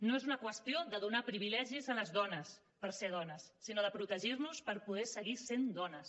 no és una qüestió de donar privilegis a les dones per ser dones sinó de protegir nos per poder seguir sent dones